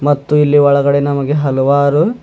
ಮತ್ತು ಇಲ್ಲಿ ಒಳಗಡೆ ನಮಗೆ ಹಲವಾರು.